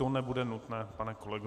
To nebude nutné, pane kolego.